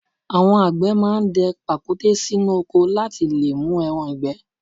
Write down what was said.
Àwọn àgbẹ̀ máa ń dẹ pàkúté sínú oko láti lè mú ẹran ìgbẹ́?